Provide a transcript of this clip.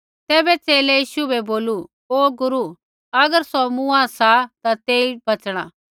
तैबै च़ेले यीशु बै बोलू ओ गुरू अगर सौ मूआँ सा ता तेई बच़णा